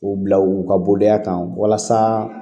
U bila u ka boliya kan walasa